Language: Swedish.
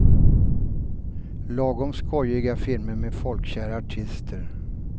Lagom skojiga filmer med folkkära artister.